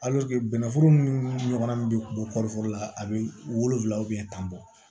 bɛnnɛforo ni ɲɔgɔn bɛ bɔ kɔɔri foro la a bɛ wolonwula tan bɔ